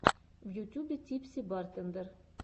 в ютюбе типси бартендер